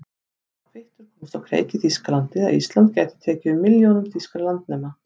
Sá kvittur komst á kreik í Þýskalandi, að Ísland gæti tekið við milljónum þýskra landnema.